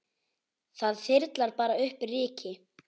Það þyrlar bara upp ryki.